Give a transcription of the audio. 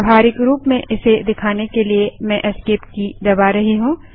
व्यावहारिक रूप में इसे दिखाने के लिए मैं ESC एस्केप की दबा रही हूँ